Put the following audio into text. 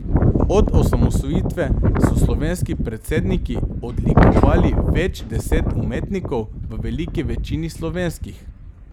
Od osamosvojitve so slovenski predsedniki odlikovali več deset umetnikov, v veliki večini slovenskih.